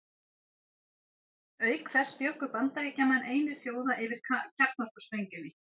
Auk þess bjuggu Bandaríkjamenn einir þjóða yfir kjarnorkusprengjunni.